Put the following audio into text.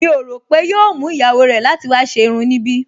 Mi ò rò pé yóò mú ìyàwó rẹ̀ láti wá ṣe irun níbí